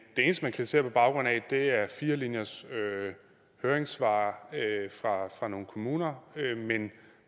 eneste man kritiserer på baggrund af er fire linjers høringssvar fra nogle kommuner men